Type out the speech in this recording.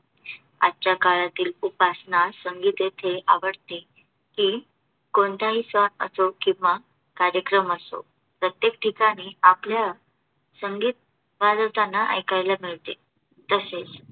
आजच्या काळातील उपासना संगीत येथे आवडते की, कोणताही सण असो किंवा कार्यक्रम असो. प्रत्येक ठीकणी आपल्याला संगीत वाजवताना ऐकायला मिळते. तसेच